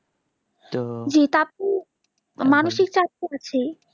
যেটা আপনি মানসিক চাপ তো আছেই